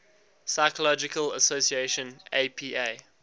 psychological association apa